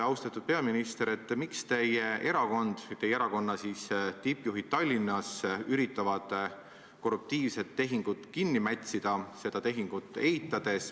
Austatud peaminister, miks teie erakond või teie erakonna tippjuhid Tallinnas üritavad korruptiivset tehingut kinni mätsida seda tehingut eitades?